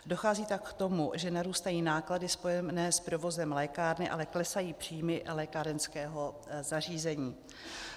Dochází tak k tomu, že narůstají náklady spojené s provozem lékárny, ale klesají příjmy lékárenského zařízení.